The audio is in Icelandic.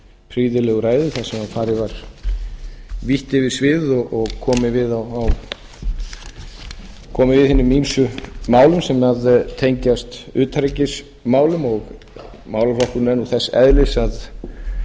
prýðilegu ræðu þar sem farið var vítt yfir sviðið og komið við í hinum ýmsu málum sem tengjast utanríkismálum málaflokkurinn er nú þess eðlis að það